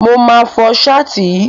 Mo máa fọ Ṣáàtì yìí.